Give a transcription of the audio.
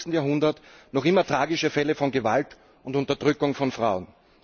21. Jahrhundert noch immer tragische Fälle von Gewalt und Unterdrückung von Frauen.